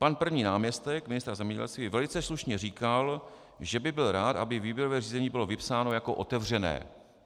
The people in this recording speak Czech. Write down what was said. - "Pan první náměstek ministra zemědělství velice slušně říkal, že by byl rád, aby výběrové řízení bylo vypsáno jako otevřené.